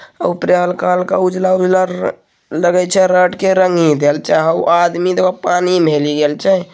आ उपरे हल्का हल्का उजला-उजला रंगी देल छै रड के रंगी देल छै उ आदमी देखो पानी में बही रहल छै।